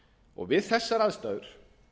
erfiðara við þessar aðstæður